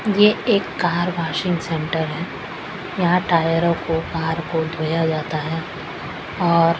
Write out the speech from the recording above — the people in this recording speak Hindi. यह एक कार वॉशिंग सेंटर है यहां टायरों को कार को धोया जाता है और--